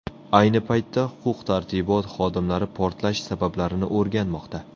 Ayni paytda huquq-tartibot xodimlari portlash sabablarini o‘rganmoqda.